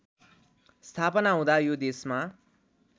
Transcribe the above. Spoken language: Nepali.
स्थापना हुँदा यो देशमा